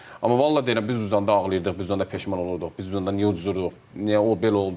Amma vallah deyirəm, biz uzanda ağlayırdıq, biz uzanda peşman olurduq, biz uzanda niyə uduruq, niyə o belə oldu?